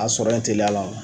A sɔrɔ in tɛliyala o la.